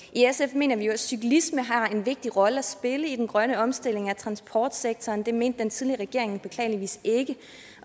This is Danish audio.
mener vi jo at cyklisme har en vigtig rolle at spille i den grønne omstilling af transportsektoren det mente den tidligere regering beklageligvis ikke